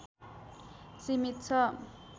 सीमित छ